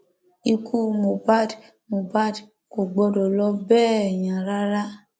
ikú mohbad mohbad kò gbọdọ lọ bẹẹ yẹn rárá